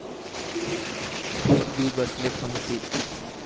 Big B बसले पंगतीत!